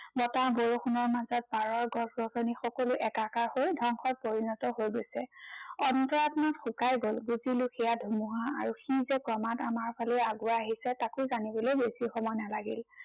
বতাহ বৰষুণৰ মাজত পাৰৰ গছ-গছনি সকলো একাকাৰ হৈ ধ্বংসত পৰিণত হৈ গৈছে। অন্তৰাত্মা শুকাই গল। বুজিলো সেয়া ধুমুহা আৰু সি যে ক্ৰমাত আমাৰ ফালেই আগুৱাই আহিছে, তাকো জানিবলৈ বেছি সময় নালাগিল।